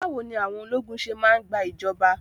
Báwo ni àwọn ológun ṣé máa ń gba ìjọba?